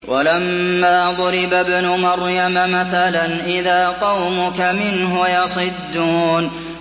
۞ وَلَمَّا ضُرِبَ ابْنُ مَرْيَمَ مَثَلًا إِذَا قَوْمُكَ مِنْهُ يَصِدُّونَ